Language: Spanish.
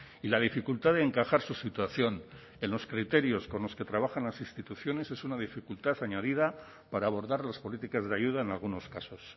y la dificultad de encajar su situación en los criterios con los que trabajan las instituciones es una dificultad añadida para abordar las políticas de ayuda en algunos casos